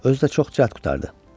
Özü də çox cəld qurtardı.